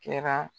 Kɛra